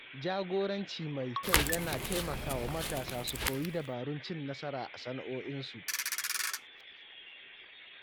Jagoranci mai kyau yana taimakawa matasa su koyi dabarun cin nasara a sana’o'insu.